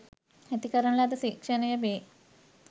ඇති කරන ලද සික්ෂනය වේ.